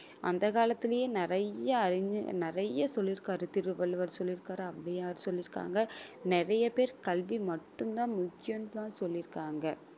அந்த காலத்திலேயே நிறைய அறிஞ~ நிறைய சொல்லிருக்காரு திருவள்ளுவர் சொல்லியிருக்காரு, ஔவையார் சொல்லிருக்காங்க நிறைய பேர் கல்வி மட்டும்தான் முக்கியம்ன்னுதான் சொல்லியிருக்காங்க